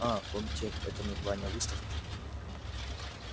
а комтек это название выставки